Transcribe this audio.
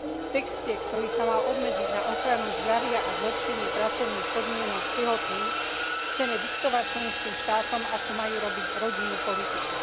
V texte, ktorý sa mal obmedziť na ochranu zdravia a zlepšenie pracovných podmienok tehotných, chceme diktovať členským štátom, ako majú robiť rodinnú politiku.